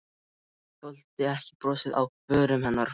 Þoldi ekki brosið á vörum hennar.